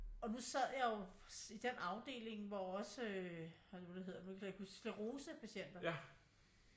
Og nu sad jeg jo i den afdeling hvor også øh hvad er det nu det hedder nu kan jeg ikke huske sklerosepatienter